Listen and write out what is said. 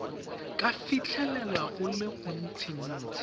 ka fitlhelela go le gontsintsi